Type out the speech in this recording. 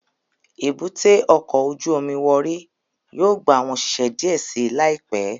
Èbúté ọkọ ojú omi Warri yóò gba awọn oṣiṣẹ diẹ sii laipẹ